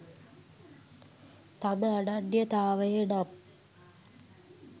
තම අනන්‍යතාවයනම්